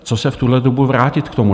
Co se v tuhle dobu vrátit k tomu?